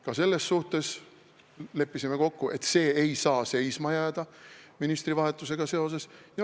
Ka selles suhtes leppisime kokku, et see ei saa ministrivahetusega seoses seisma jääda.